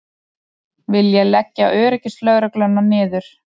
Vilja leggja öryggislögregluna niður